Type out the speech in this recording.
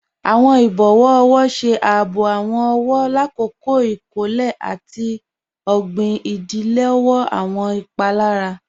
Awọn ibọwọ ọwọ ṣe àábò awọn ọwọ làkọ̀kọ̀ ikọ̀lẹ̀ àti ogbin, ìdílọ̀wọ̀ awọn ìpalára.